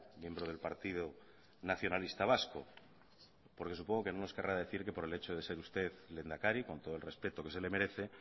miembro del partido nacionalista vasco porque supongo que no nos querrá decir que por el hecho de ser usted lehendakari con todo el respeto que se le merece